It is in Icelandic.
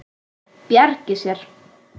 Bjargi sér.